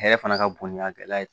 Hɛrɛ fana ka bon ni a gɛlɛya ye